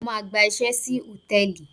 Mo máa gba iṣẹ́ sí hòtẹ́ẹ̀lì.